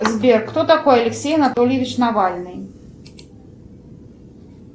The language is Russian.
сбер кто такой алексей анатольевич навальный